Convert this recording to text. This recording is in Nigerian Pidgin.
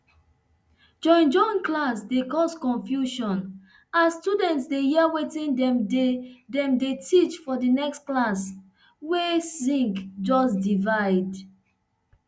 joinjoin classe dey cause confusion as students dey hear wetin dem dey dem dey teach for di next class wey zinc just divide